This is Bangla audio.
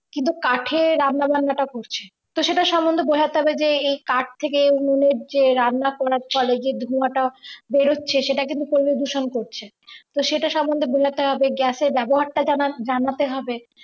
কিন্তু কাঠের রান্নাবান্নাটা করছে তো সেটা সম্বন্ধে বোঝাতে হবে যে এই কাঠ থেকে উনুনের রান্না করার পরে যে ধোঁয়াটা বেরোচ্ছে সেটা কিন্তু পরিবেশ দূষণ করেছিল তো সেটা সম্বন্ধে বোঝাতে হবে gas এর ব্যবহারটা জানা জানাতে হবে।